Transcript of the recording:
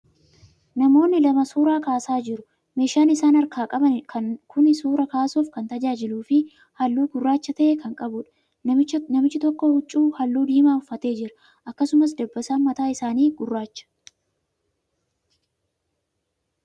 Namootni lama suuraa kaasaa jiru. Meeshan isaan harkaa qaban kuni suuraa kaasuf kan tajaajiluu fi haalluu gurraacha ta'e kan qabuudha. Namichi tokko huccuu haalluu diimaa uffatee jira. Akkasumas, dabbasaan mataa isaanii gurraacha.